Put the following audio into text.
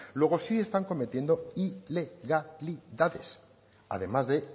luego sí están cometiendo ilegalidades además de